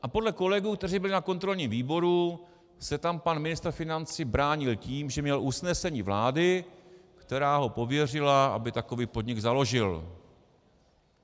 A podle kolegů, kteří byli na kontrolním výboru, se tam pan ministr financí bránil tím, že měl usnesení vlády, která ho pověřila, aby takový podnik založil.